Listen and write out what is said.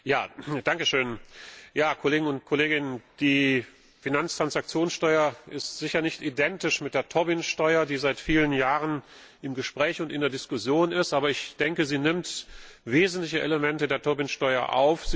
Herr Präsident, Kollegen und Kolleginnen! Die Finanztransaktionssteuer ist sicher nicht identisch mit der Tobin Steuer, die seit vielen Jahren im Gespräch und in der Diskussion ist, aber ich denke, sie nimmt wesentliche Elemente der Tobin Steuer auf.